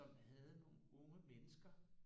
Som havde nogle unge mennesker